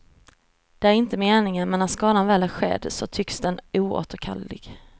Det är inte meningen, men när skadan väl är skedd så tycks den oåterkallelig.